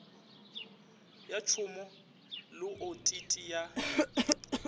ya tšhomo le otiti ya